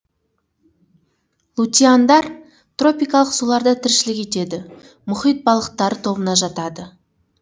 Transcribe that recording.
лутиандар тропикалық суларда тіршілік етеді мұхит балықтары тобына жатады